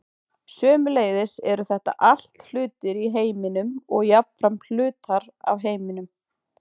sömuleiðis eru þetta allt hlutir í heiminum og jafnframt hlutar af heiminum